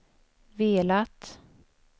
velat